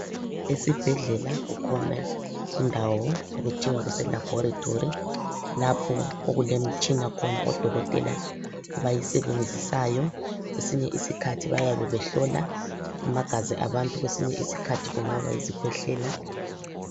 Esibhedlela kukhona indawo okuthiwa kuselabhorethi lapho okulemitshina khona odokotela abayisebenzisayo. Kwesinye isikhathi bayabe behlola amagazi abantu kwesinye isikhathi kungaba yisikhwehlela.